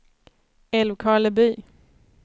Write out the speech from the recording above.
Älvkarleby